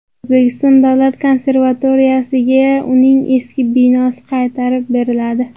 O‘zbekiston davlat konservatoriyasiga uning eski binosi qaytarib beriladi.